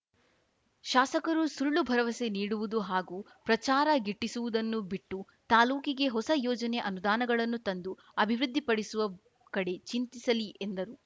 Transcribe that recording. ಶಾಸಕರು ಸುಳ್ಳು ಭರವಸೆ ನೀಡುವುದು ಹಾಗೂ ಪ್ರಚಾರ ಗಿಟ್ಟಿಸುವುದನ್ನು ಬಿಟ್ಟು ತಾಲೂಕಿಗೆ ಹೊಸ ಯೋಜನೆ ಅನುದಾನಗಳನ್ನು ತಂದು ಅಭಿವೃದ್ಧಿಪಡಿಸುವ ಕಡೆ ಚಿಂತಿಸಲಿ ಎಂದರು